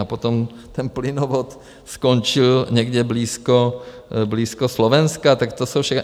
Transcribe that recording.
A potom ten plynovod skončil někde blízko Slovenska, tak to jsou všechno...